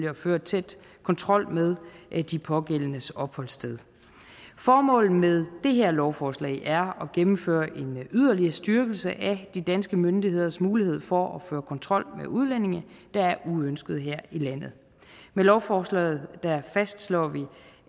at føre tæt kontrol med de pågældendes opholdssted formålet med det her lovforslag er at gennemføre en yderligere styrkelse af de danske myndigheders mulighed for at føre kontrol med udlændinge der er uønskede her i landet med lovforslaget fastslår vi